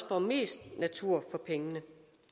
får mest natur for pengene